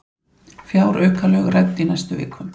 Fjáraukalög rædd í næstu viku